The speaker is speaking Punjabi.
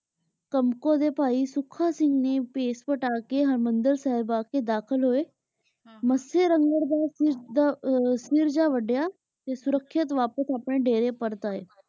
ਕਾਮ੍ਕੋ ਦੇ ਭਾਈ ਸੁਖਾ ਸਿੰਘ ਨੇ ਭੇਸ ਵਾਤਾ ਕੇ ਹਰ੍ਬੰਦਲ ਸਾਹਿਬ ਆ ਕੇ ਦਾਖਿਲ ਹੋਆਯ ਮਤਸਯ ਰੰਗਰ ਦਾ ਸਿਰ ਜੇਯ ਵਾਡੀਆ ਤੇ ਸੁਰੇਕ੍ਸ਼ਿਤ ਵਾਪਿਸ ਅਪਨੇ ਦੇਰੀ ਪਰਤ ਆਯ